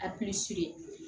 A